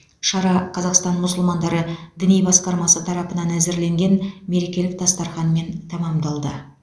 шара қазақстан мұсылмандары діни басқармасы тарапынан әзірленген мерекелік дастарханмен тәмамдалды